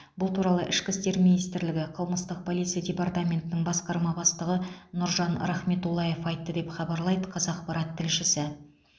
бұл туралы ішкі істер министрлігі қылмыстық полиция департаментінің басқарма бастығы нұржан рахметуллаев айтты деп хабарлайды қазақпарат тілшісі